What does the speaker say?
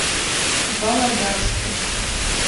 володарску